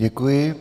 Děkuji.